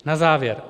Na závěr.